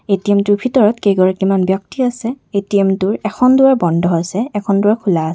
ATM টোৰ ভিতৰত কেইগৰাকীমান ব্যক্তি আছে এ_টি_এম্ টোৰ এখন দুৱাৰ বন্ধ আছে এখন দুৱাৰ খোলা আছ --